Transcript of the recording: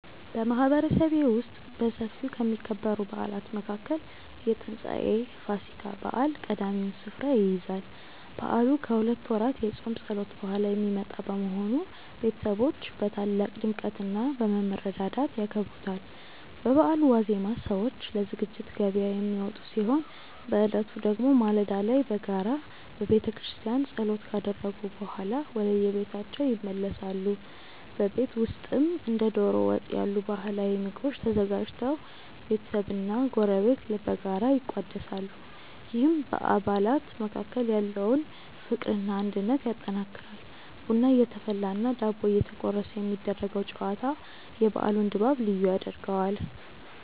በማህበረሰቤ ውስጥ በሰፊው ከሚከበሩ በዓላት መካከል የትንሳኤ (ፋሲካ) በዓል ቀዳሚውን ስፍራ ይይዛል። በዓሉ ከሁለት ወራት የጾም ጸሎት በኋላ የሚመጣ በመሆኑ፣ ቤተሰቦች በታላቅ ድምቀትና በመረዳዳት ያከብሩታል። በበዓሉ ዋዜማ ሰዎች ለዝግጅት ገበያ የሚወጡ ሲሆን፣ በዕለቱ ደግሞ ማለዳ ላይ በጋራ በቤተክርስቲያን ጸሎት ካደረጉ በኋላ ወደየቤታቸው ይመለሳሉ። በቤት ውስጥም እንደ ዶሮ ወጥ ያሉ ባህላዊ ምግቦች ተዘጋጅተው ቤተሰብና ጎረቤት በጋራ ይቋደሳሉ፤ ይህም በአባላት መካከል ያለውን ፍቅርና አንድነት ያጠናክራል። ቡና እየተፈላና ዳቦ እየተቆረሰ የሚደረገው ጨዋታ የበዓሉን ድባብ ልዩ ያደርገዋል።